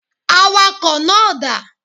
Awakọ̀ náà dà.